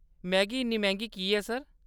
Maggi इन्नी मैंह्गी की ऐ सर ?